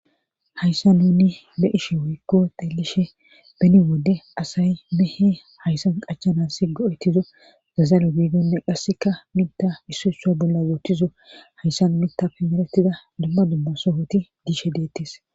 hayssa nunni be ishe woykko xelishe beni wodde asay mehe hayssan qachanassi go7etizo zazalo giidenne qasseka mita issu ha bolla wottizo hayssan mitafe meretida dumma dumma sohoti diishe deettes